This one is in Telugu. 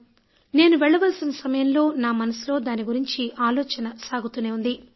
కానీ నేను వెళ్ళవలసిన సమయంలో నా మనసులో దాని గురించి ఆలోచన సాగుతూ ఉంది